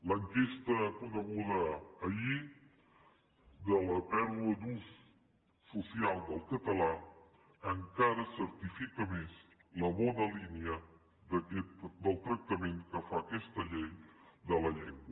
l’enquesta coneguda ahir de la pèrdua d’ús social del català encara certifica més la bona línia del tractament que fa aquesta llei de la llengua